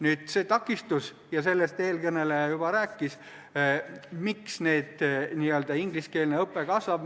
Nüüd sellest takistusest – ja sellest eelkõneleja juba rääkis –, miks ingliskeelne õpe kasvab.